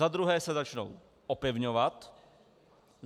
Za druhé se začnou opevňovat.